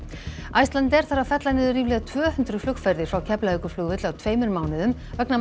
Icelandair þarf að fella niður ríflega tvö hundruð flugferðir frá Keflavíkurflugvelli á tveimur mánuðum vegna